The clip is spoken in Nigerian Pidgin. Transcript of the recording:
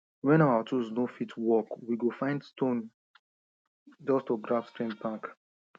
when our tools no fit work we go find stone just to grab strength back